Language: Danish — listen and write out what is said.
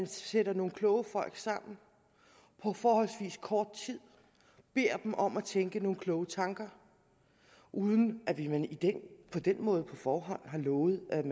sætter nogle kloge folk sammen på forholdsvis kort tid beder dem om at tænke nogle kloge tanker uden at vi på den måde på forhånd har lovet at